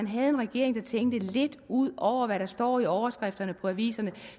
havde en regering der tænkte lidt ud over hvad der står i overskrifterne i aviserne